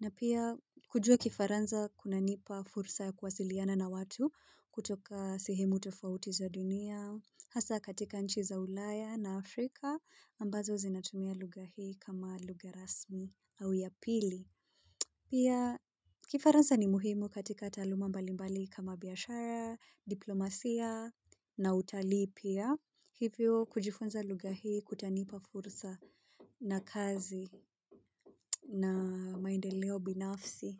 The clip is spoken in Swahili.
na pia kujua kifaransa kunanipa fursa ya kuwasiliana na watu kutoka sehemu tofauti za dunia, hasa katika nchi za ulaya na Afrika ambazo zinatumia lugha hii kama lugha rasmi au ya pili. Pia kifaransa ni muhimu katika taaluma mbali mbali kama biashara, diplomasia na utali pia hivyo kujifunza lugha hii kutanipa fursa na kazi na maendeleo binafsi.